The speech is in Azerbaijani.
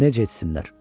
Necə etsinlər?